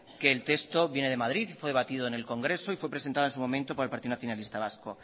que el texto viene de madrid fue debatido en el congreso y fue presentado en su momento por el partido nacionalista vasco